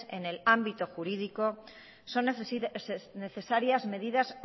en el ámbito jurídico son necesarias medidas